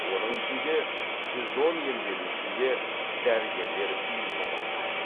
оның ішінде жүз он емделушіге дәрігерлер үйіне барған